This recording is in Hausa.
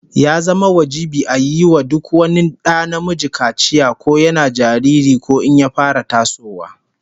Ya zama wajibi a yi wa duk wani da namiji kaciya, ko yana jariri ko in ya fara tasowa